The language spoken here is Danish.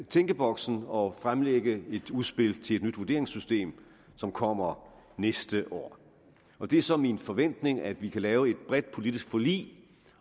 tænkeboks og fremlægge et udspil til et nyt vurderingssystem som kommer næste år det er så min forventning at vi kan lave et bredt politisk forlig